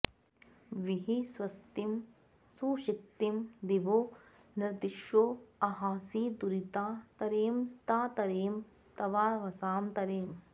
वी॒हि स्व॒स्तिं सु॑क्षि॒तिं दि॒वो नॄन्द्वि॒षो अंहां॑सि दुरि॒ता त॑रेम॒ ता त॑रेम॒ तवाव॑सा तरेम